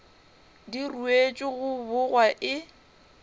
di ruetšwe go bogwa e